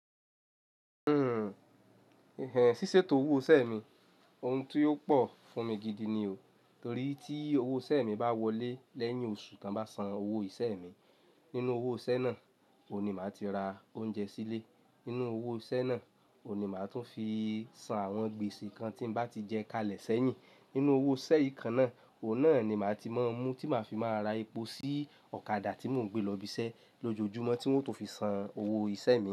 Hmm, ìhànn síṣètò owó isẹ mi, ohun tí ó pò fún mi gidi ni o. Torí tí owó isẹ mi bá wọlé lẹ́yìn oṣù tí wọ́n bá san owó isẹ mi, nínú owó isẹ náà oun ni màá ti ra oúnjẹ sílé. Nínú owó isẹ́ náà oun ni màá tún fi san àwọn gbèsè kan tí n bá ti jẹ kalẹ̀ sẹ́yìn. Nínú owó isẹ yì kan náà oun náà ni màá ti máa mú tí màá fi máa ra epo sí ọ̀kadà tí mò ń gbé lọ ibi isẹ lójoojúmọ́ tí wọ́n ó tun fi san owó isẹ mi.